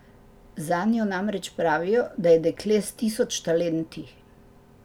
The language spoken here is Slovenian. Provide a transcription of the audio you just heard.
Zanjo namreč pravijo, da je dekle s tisoč talenti.